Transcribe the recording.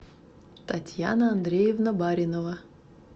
татьяна андреевна баринова